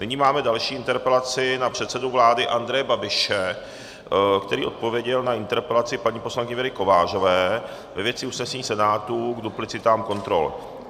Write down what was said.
Nyní máme další interpelaci na předsedu vlády Andreje Babiše, který odpověděl na interpelaci paní poslankyně Věry Kovářové ve věci usnesení Senátu k duplicitám kontrol.